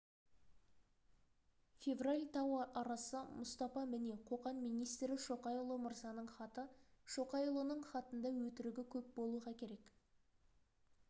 февраль тау арасы мұстапа міне қоқан министрі шоқайұлы мырзаның хаты шоқайұлының хатында өтірігі көп болуға керек